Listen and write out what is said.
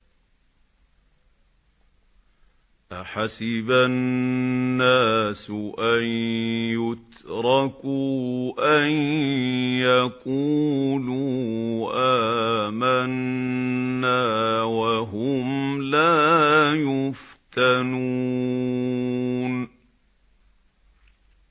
أَحَسِبَ النَّاسُ أَن يُتْرَكُوا أَن يَقُولُوا آمَنَّا وَهُمْ لَا يُفْتَنُونَ